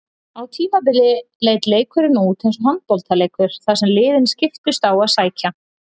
Á tímabili leit leikurinn út eins og handboltaleikur þar sem liðin skiptust á að sækja.